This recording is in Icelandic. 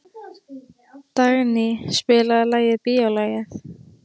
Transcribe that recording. Dagný, spilaðu lagið „Bíólagið“.